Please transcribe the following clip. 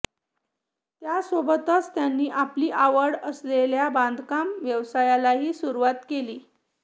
यासोबतच त्यांनी आपली आवड असलेल्या बांधकाम व्यवसायालाही सुरुवात केली